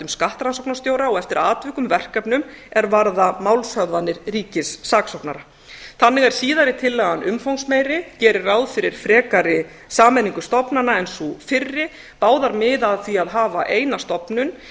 skattrannsóknarstjóra og eftir atvikum verkefnum er vara málshöfðanir ríkissaksóknara þannig er síðari tillagan umfangsmeiri gerir ráð fyrir frekari sameiningu stofnana en sú fyrri báðar miða að því að hafa eina stofnun